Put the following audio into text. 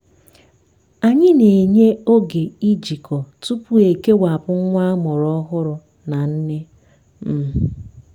anyị na-enye oge ijikọ tupu ekewapụ nwa amụrụ ọhụrụ na nne. um